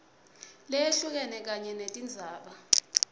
leyehlukene kanye netindzaba